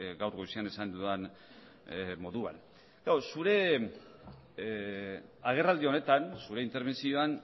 gaur goizean esan dudan moduan klaro zure agerraldi honetan zure interbentzioan